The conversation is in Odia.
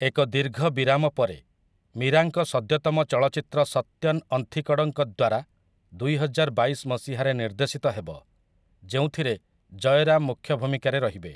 ଏକ ଦୀର୍ଘ ବିରାମ ପରେ, ମୀରାଙ୍କ ସଦ୍ୟତମ ଚଳଚ୍ଚିତ୍ର ସତ୍ୟନ ଅନ୍ଥିକଡ଼ଙ୍କ ଦ୍ୱାରା ଦୁଇହଜାର ବାଇଶ ମସିହାରେ ନିର୍ଦ୍ଦେଶିତ ହେବ, ଯେଉଁଥିରେ ଜୟରାମ ମୁଖ୍ୟ ଭୂମିକାରେ ରହିବେ ।